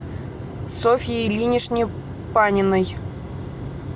софье ильиничне паниной